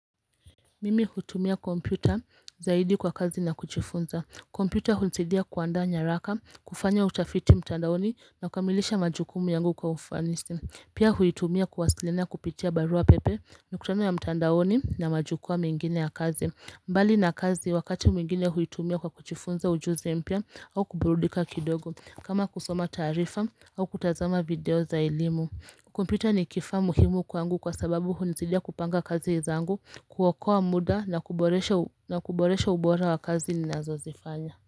Mimi hutumia kompyuta zaidi kwa kazi na kujifunza kompyuta hunizidia kuanda nyaraka, kufanya utafiti mtandaoni na kamilisha majukumu yangu kwa ufanisi Pia huitumia kuwasiliana kupitia barua pepe, mikutano ya mtandaoni na majukwaa mengine ya kazi mbali na kazi wakati mwingine huitumia kwa kjifunza ujuzi mpya au kuburudika kidogo kama kusoma taarifa au kutazama video za elimu Kukumpita ni kifaa muhimu kwangu kwa sababu hunisaidia kupanga kazi zangu, kuokoa muda na kuboresha ubora wa kazi ni nazo zifanya.